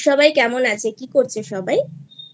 সবাই কেমন আছে? কি করছে সবাই?